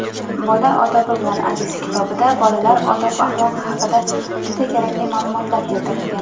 "Bola – odobi bilan aziz" kitobida bolalar odob-axloqi haqida juda kerakli ma’lumotlar berilgan.